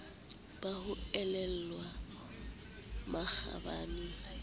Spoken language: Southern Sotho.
ba ho elellwa makgabane le